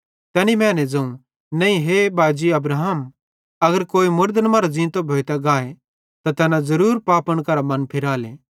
तैनी मैने ज़ोवं नईं ए बाजी अब्राहम अगर कोई मुड़दन मरां ज़ींतो भोइतां गाए त तैना ज़रूर पापन करां मन फिराले